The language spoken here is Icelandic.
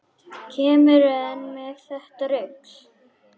Kemurðu enn með þetta rugl!